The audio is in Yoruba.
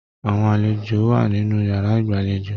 Àwọn àlejò wà nínú yàrá ìgbàlèjo.